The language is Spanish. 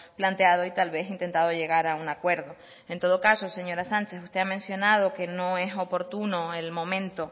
planteado y tal vez intentado llegar a un acuerdo en todo caso señora sánchez usted ha mencionado que no es oportuno el momento